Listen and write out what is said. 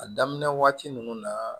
A daminɛ waati ninnu na